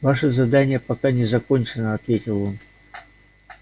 ваше задание пока не закончено ответил он